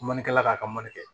Manikala k'a ka mali kɛ